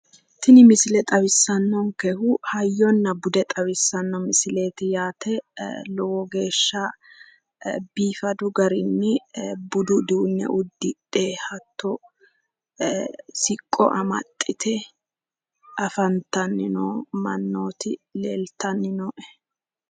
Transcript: Tini misile xawissannonkehu hayyonna bude xawissanno misileeti yaate lowo geeshsha biifadu garinni budu uduunne uddidhe hatto siqqo amaxxite noo mannooti leeltanni noo"e.